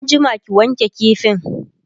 an jima ki wanke kifin!